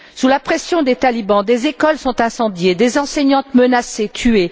Sous la pression des talibans, des écoles sont incendiées, des enseignantes menacées et tuées.